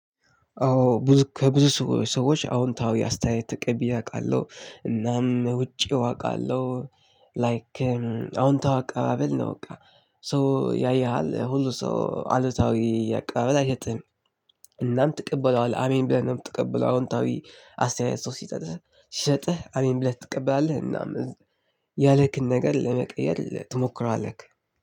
አዎ ከብዙ ሰዎች አዎንታዊ አስተያየት ተቀብዬ አውቃለሁ እናም ውጪው አውቃለሁ ላይክ አዎንታዊ አቀባበል ነው። በቃ ሰው ያይሃል ሁሉ ሰው አሉታዊ አቀባበል አይሰጥህም። እናም ትቀበለዋለህ አሜን ብለህ ነው። ምትቀበለው አዎንታዊ አስተያየት ሰው ሲጠጥህ ሲሰጥህ አሜን ብለህ ትቀበላለህ። እናም እዚህ ያለክን ነገር ለመቀየር ትሞክራለህ